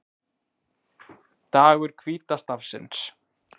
Dagur hvíta stafsins